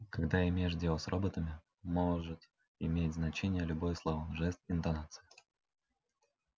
когда имеешь дело с роботами может иметь значение любое слово жест интонация